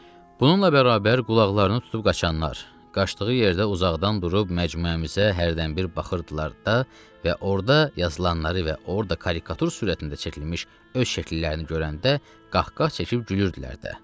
Bununla bərabər qulaqlarını tutub qaçanlar, qaçdığı yerdə uzaqdan durub məcmuəmizə hərdən bir baxırdılar da və orada yazılanları və orada karikatur sürətində çəkilmiş öz şəkillərini görəndə qaqqa çəkib gülürdülər də.